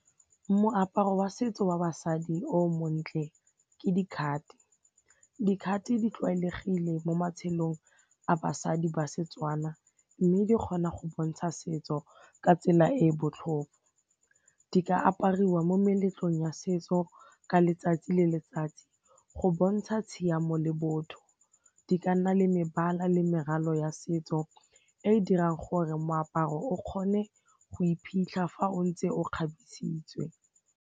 Moaparo wa setso wa basadi o montle ke dikhate, dikhate di tlwaelegile mo matshelong a basadi ba seTswana mme di kgona go bontsha setso ka tsela e e botlhokwa. Di ka apariwa mo meletlong ya setso ka letsatsi le letsatsi go bontsha tshiamo le botho, di ka nna le mebala le meralo ya setso e e dirang gore moaparo o kgone go iphitlha fa o ntse o kgabisitswe.